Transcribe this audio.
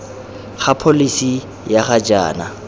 ga pholesi ya ga jaana